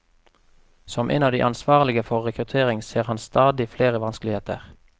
Som en av de ansvarlige for rekruttering ser han stadig flere vanskeligheter.